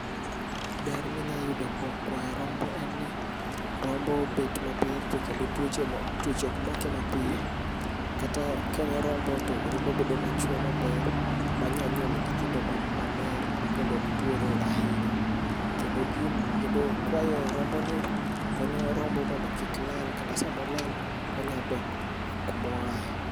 Ber ma inyalo yudo kuom kwayo rombo en ni rombo obet maber to kendo tuoche ok make mapiyo. Kata ka okon rombo to rombo nyalo bedo machwe maber. ma nyalo nyuolo nyithindo maler makendo ok tuore ahinya. Kendo kwayo rombonki konyo rombo mondo rombo kik lal. Kata sama olal to onyalo dok kuma oaye.